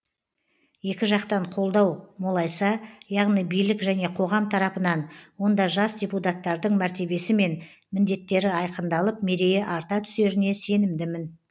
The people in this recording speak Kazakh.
екі жақтан қолдау молайса яғни билік және қоғам тарапынан онда жас депутаттардың мәртебесімен міндеттері айқындалып мерейі арта түсеріне сенімдімін